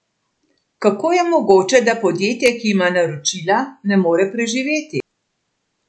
Kako je mogoče, da podjetje, ki ima naročila, ne more preživeti?